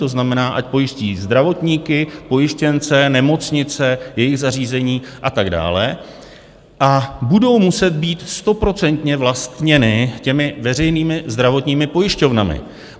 To znamená, ať pojistí zdravotníky, pojištěnce, nemocnice, jejich zařízení a tak dále a budou muset být stoprocentně vlastněny těmi veřejnými zdravotními pojišťovnami.